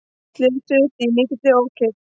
Slösuðust í mikilli ókyrrð